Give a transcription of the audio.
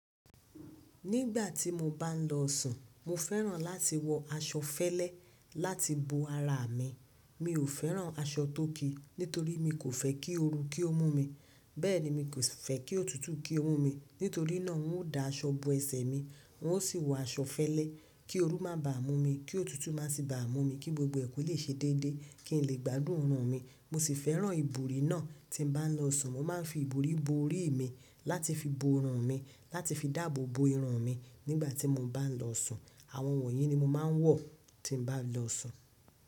Nígbà tí mo bá ń lọ sùn, mo fẹ́ràn láti wọ aṣọ fẹlẹ láti bo ara mi. Mi ò fẹ́ràn aṣọ tóki nítorí mi kò fẹ́ kí ooru kí ó mú mi, bẹ́ẹ̀ ni mi kò fẹ́ kí òtútù kí ó mú mi. Nítorí náà, ń ó da aṣọ bo ẹsẹ̀ mi, wọn ó sì wọ aṣọ fẹlẹ kí ooru má bà mú mi, kí òtútù má sì bà mú mi, kí gbogbo ẹ̀kú lè ṣe déédé, kí n lè gbádùn orùn mi. Mo sì fẹ́ràn ìborí náà tí ń bá lọ sùn. Mo máa ń fi ìborí bo orí mi láti fi bo ọrùn mi, láti fi dáàbò bo irun mi nígbà tí mo bá ń lọ sùn. Àwọn wọ̀nyí ni mo máa ń wọ tí ń bá lọ sùn.